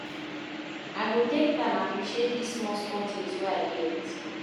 I go take time appreciate dese small small tins wey I get.